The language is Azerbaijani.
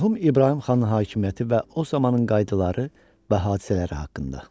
Mərhum İbrahim xan hakimiyyəti və o zamanın qaydaları və hadisələri haqqında.